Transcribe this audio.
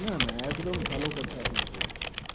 না না একদম ভালো কথা আপনি বলছেন ।